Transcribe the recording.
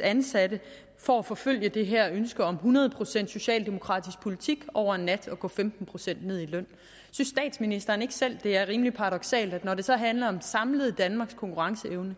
ansatte for at forfølge det her ønske om hundrede procent socialdemokratisk politik over en nat at gå femten procent ned i løn synes statsministeren ikke selv det er rimelig paradoksalt at når det så handler om danmarks samlede konkurrenceevne